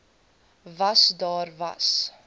was daar was